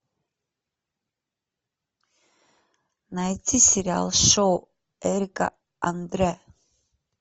найти сериал шоу эрика андре